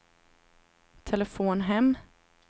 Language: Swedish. telefon hem